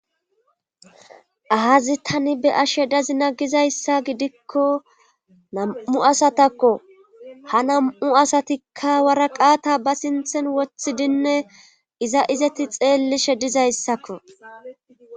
Aazi tani be ashe dazi na gizayssa gidikko nam7u asatakko ha nam7u asatikka waraqata ba sinthen wothidinne iza izati xeellishe dizayssakko